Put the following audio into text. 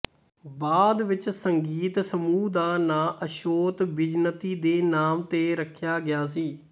ਬਾਅਦ ਵਿੱਚ ਸੰਗੀਤ ਸਮੂਹ ਦਾ ਨਾਂ ਅਸ਼ੋਤ ਬਿਜ਼ਨਤੀ ਦੇ ਨਾਮ ਤੇ ਰੱਖਿਆ ਗਿਆ ਸੀ